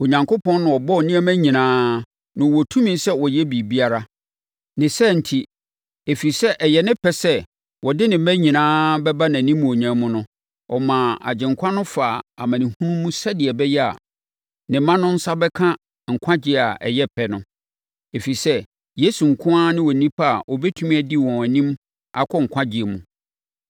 Onyankopɔn na ɔbɔɔ nneɛma nyinaa, na ɔwɔ tumi sɛ ɔyɛ biribiara. Ne saa enti, ɛfiri sɛ ɛyɛ ne pɛ sɛ ɔde ne mma nyinaa bɛba nʼanimuonyam mu no, ɔmaa Agyenkwa no faa amanehunu mu sɛdeɛ ɛbɛyɛ a, ne mma no nsa bɛka nkwagyeɛ a ɛyɛ pɛ no. Ɛfiri sɛ, Yesu nko ara ne Onipa a ɔbɛtumi adi wɔn anim akɔ nkwagyeɛ mu.